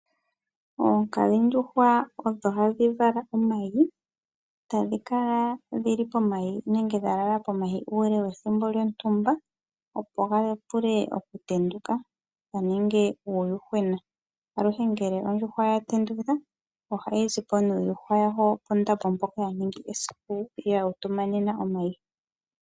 Oonkadhindjuhwa odho hadhi vala omayi ,na ohadhi kala dha langela omayi uule wethimbo lyontumba opo ga vule oku tenduka mo omu ze uuyuhwena. Aluhe ngele on